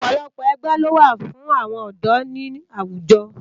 Òpòlòpò ègbè ló wá fún áwòn òdò ni áwújò